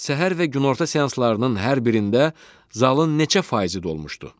Səhər və günorta seanslarının hər birində zalın neçə faizi dolmuşdu?